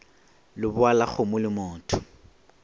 lebowa la kgomo le motho